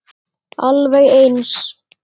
Alveg eins.